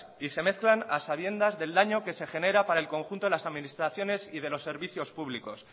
y se mezclan a sabiendas del daño que se genera para el conjunto de las administraciones y de los servicios públicos